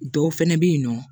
Dɔw fɛnɛ be yen nɔ